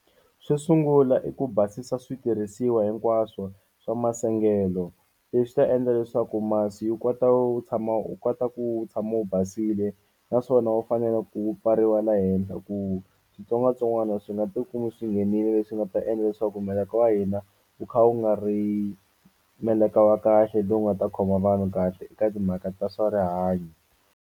Xo sungula i ku basisa switirhisiwa hinkwaswo swa masengelo leswi ta endla leswaku masi yi kota wu tshama u kota ku wu tshama wu basile naswona wu fanele ku pfariwa la henhla ku switsongwatsongwana swi nga tikumi swi nghenile leswi nga ta endla leswaku meleka wa hina wu kha wu nga ri meleka wa kahle lowu nga ta khoma vanhu kahle eka timhaka ta swa rihanyo.